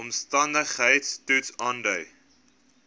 omstandigheids toets aandui